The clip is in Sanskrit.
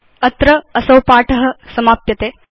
अत्र असौ पाठ समाप्यते